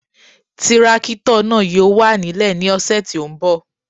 Tírákítọ̀ náà yóò wà nílẹ̀ ní ọ̀sẹ̀ tí ó ń bọ̀